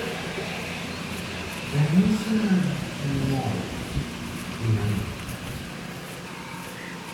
Ranyisi mag tuo ng'ol gin ang'o?